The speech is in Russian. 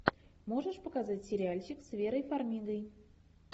можешь показать сериальчик с верой фармигой